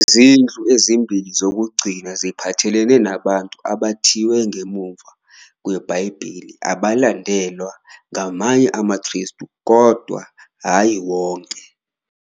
Izinhlu ezimbili zokugcina ziphathelene nabantu abathiwe ngemuva kweBhayibheli abalandelwa ngamanye amaKristu, kodwa hhayi wonke.